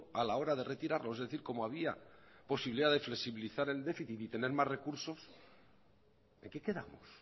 a la hora de retirarlos es decir como había posibilidad de flexibilizar el déficit y tener más recursos en qué quedamos